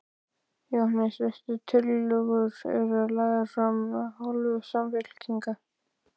Jóhannes: Veistu hvaða tillögur eru lagðar fram af hálfu Samfylkingar?